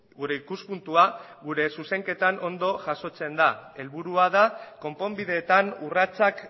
gure ikuspuntua gure zuzenketan ondo jasotzen da helburua da konponbideetan urratsak